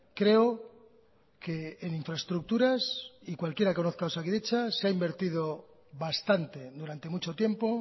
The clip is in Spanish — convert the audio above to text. creo que en infraestructuras y cualquiera que conozca osakidetza se ha invertido bastante durante mucho tiempo